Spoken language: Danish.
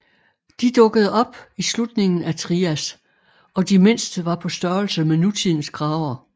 De dukkede op i slutningen af Trias og de mindste var på størrelse med nutidens krager